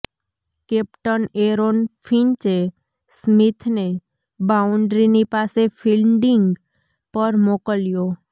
captain Aaron ફિંચે સ્મિથને બાઉન્ડ્રીની પાસે ફીલ્ડિંગ પર મોકલ્યો